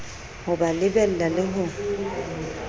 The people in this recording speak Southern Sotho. ho ba lebella le ho